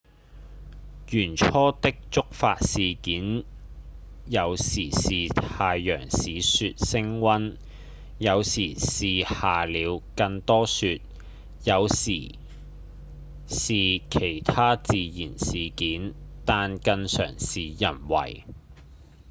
原初的觸發事件有時是太陽使雪升溫有時是下了更多雪有時是其它自然事件但更常是人為